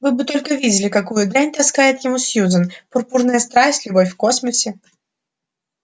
вы бы только видели какую дрянь таскает ему сьюзен пурпурная страсть любовь в космосе